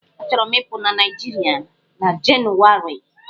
Achọrọ m ịpụ na Naịjiịrịa na Jenụwarị.